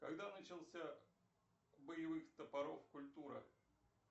когда начался боевых топоров культура